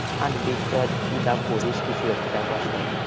আনবি ধর তুই যা পড়িস কিছু একটা